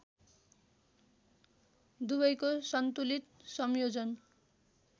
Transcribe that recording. दुवैको सन्तुलित संयोजन